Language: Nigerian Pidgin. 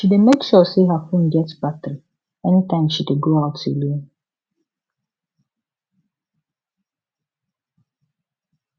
she dey make sure say her phone get battery anytime she dey go out alone